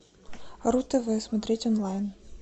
ру тв смотреть онлайн